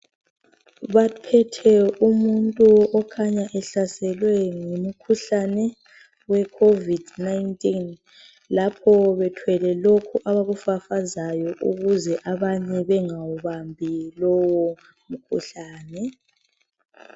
Baphethe umuntu okhanya ehlaselwe ngumkhuhlane we COVID-19. Lapho bethwele lokhu abakufafazayo ukuze abantu bengawubambi lowomkhuhlane.